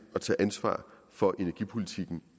at tage ansvar for energipolitikken